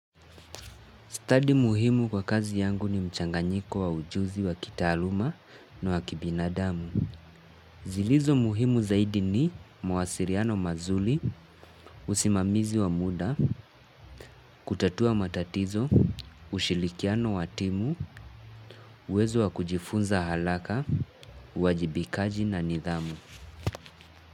Study muhimu kwa kazi yangu ni mchanganyiko wa ujuzi wa kitaluma na wa kibinadamu. Zilizo muhimu zaidi ni mwasiliano mazuri, usimamizi wa muda, kutatua matatizo, ushirikiano wa timu, uwezo wa kujifunza haraka, uwajibikaji na nidhamu.